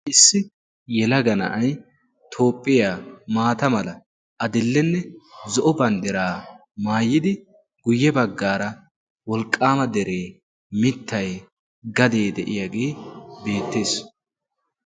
issi yelaga na7ai toophphiyaa maata mala a dillenne zo7o banddiraa maayidi guyye baggaara wolqqaama deree mittai gadee de7iyaagee beettees.